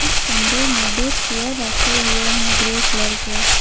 इस कमरे में दो चेयर रखे हुए हैं ग्रे कलर के।